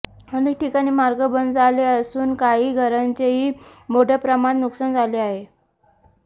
अनेक ठिकाणी मार्ग बंद झाले असून काही घरांचेही मोठ्या प्रमाणात नुकसान झाले आहे